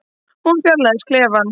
Hún fjarlægist klefann.